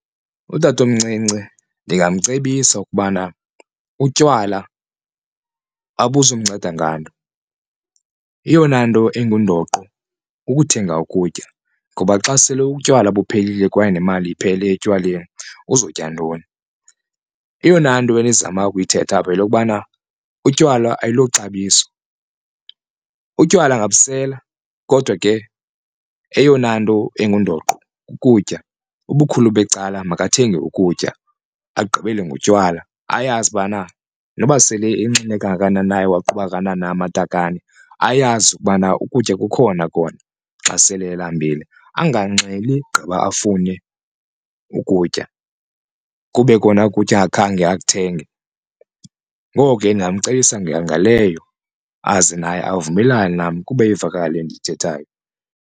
Utatomncinci ndingamcebisa ukubana utywala abuzumnceda nganto, eyona nto ingundoqo kukuthenga ukutya ngoba xa sele utywala buphelile kwaye nemali iphele etywaleni uzotya ntoni. Eyona nto endizama ukuyithetha apha yeyokubana utywala ayilo xabiso, utywala ungabusela kodwa ke eyona nto ingundoqo kukutya. ubukhulu becala makathenge ukutya agqibele ngotywala ayazi ubana noba sele enxile kangakanani na ewaqhuba kangakanani na amatakane ayazi ukubana ukutya kukhona kona xa sele elambile, anganxili gqiba afune ukutya kube kona ukutya angakhange akuthenge. Ngoko ke ndingamcebisa ngaleyo aze naye avumelane nam kube ivakala le nto ndiyithethayo.